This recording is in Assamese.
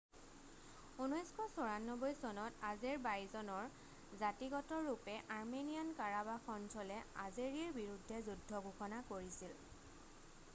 1994 চনত আজেৰবাইজনৰ জাতীগতৰূপে আৰ্মেনিয়ান কাৰাবাস অঞ্চলে আজেৰিৰ বিৰুদ্ধে যুদ্ধ ঘোষণা কৰিছিল